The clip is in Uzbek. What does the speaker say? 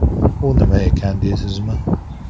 U nima ekan deysizmi?